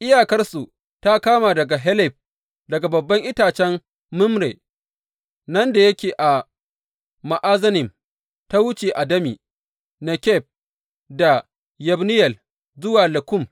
Iyakarsu ta kama daga Helef, daga babban itacen Mamre nan da yake a Za’anannim, ta wuce Adami Nekeb da Yabneyel zuwa Lakkum,